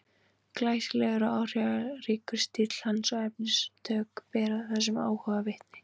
Glæsilegur og áhrifaríkur stíll hans og efnistök bera þessum áhuga vitni.